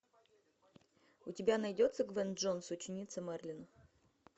у тебя найдется гвен джонс ученица мерлина